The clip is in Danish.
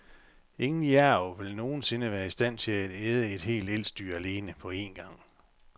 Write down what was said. Ingen jærv vil nogensinde være i stand til at æde et helt elsdyr alene på én gang.